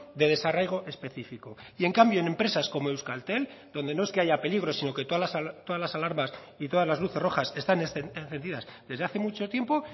de desarraigo específico y en cambio en empresas como euskaltel donde no es que haya peligro sino que todas las alarmas y todas las luces rojas están encendidas desde hace mucho tiempo